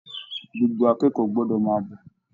Gbogbo akẹ́kọ̀ọ́ gbọ́dọ̀ máa bọ̀